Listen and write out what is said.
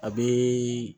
A bɛ